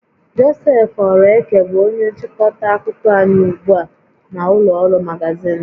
Joseph Oraeke bụ onye nchịkọta akụkọ anyị ugbu a na ụlọ ọrụ magazịn